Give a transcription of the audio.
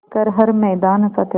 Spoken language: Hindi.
कर हर मैदान फ़तेह